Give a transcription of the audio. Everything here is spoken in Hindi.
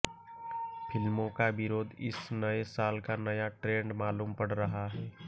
फिल्मों का विरोध इस नए साल का नया ट्रेंड मालूम पड़ रहा है